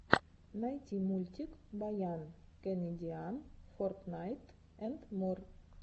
найти мультик баян кэнедиан фортнайт энд мор